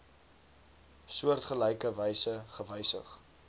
soortgelyke wyse gewysig